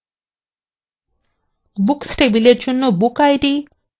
books table জন্য bookid